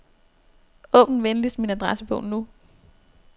Åbn venligst min adressebog nu.